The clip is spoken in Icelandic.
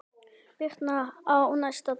Birtan á næsta degi.